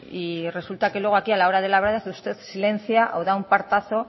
y resulta que luego aquí a la hora de la verdad silencia o da un portazo